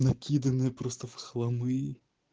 накиданные просто в хламы